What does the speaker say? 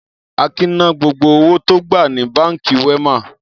Akin ná gbogbo owó tó gbà ní Báńkì Wema?